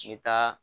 I bɛ taa